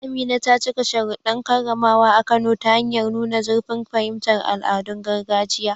Amina ta cika sharuɗɗan karramawa a Kano ta hanyar nuna zurfin fahimtar al'adun gargajiya.